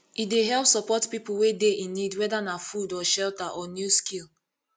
e dey help support pipo wey dey in need whether na food or shelter or new skill